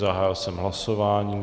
Zahájil jsem hlasování.